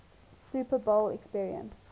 super bowl appearance